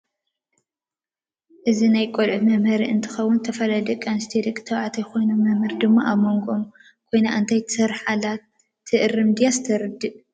አዚ ናይ ቀሉዑት መምህሪ እንትከውን ዝተፈላለዩ ደቂ አንስትዮ ደቂ ተባዒትዮ ኮይኖም መምህር ድማ አብ መንጎኦም ኮይና እንታይ ትሰርሕ አላ ትእርም ድያስ ተሪድእ?